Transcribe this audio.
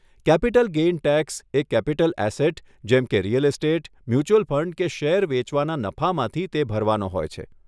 Capital gain tax એ capital asset જેમકે real estate, mutual fund કે શેર વેચવાના નફામાંથી તે ભરવાનો હોય છે.